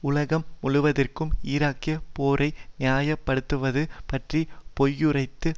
உலகம் முழுவதிற்கும் ஈராக்கிய போரை நியாயப்படுத்துவது பற்றி பொய்யுரைத்தது